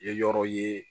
Ye yɔrɔ ye